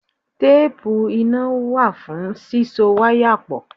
Téépù iná wà fún síso wáyà pọ̀.